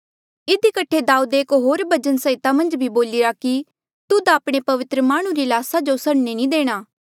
इधी कठे दाऊदे एक होर भजन संहिता मन्झ भी बोलिरा कि तुध आपणे पवित्र माह्णुं री ल्हासा जो सड़ने नी देणा